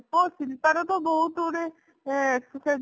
ହଁ ଶିଳ୍ପା ର ତ ବହୁତ ଗୁଡେ ଏଁ ସେ